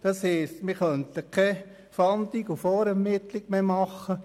Das heisst, wir könnten keine Fahndung und keine Vorermittlung mehr durchführen;